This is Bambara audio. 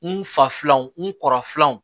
N fa filanw n kɔrɔ filanw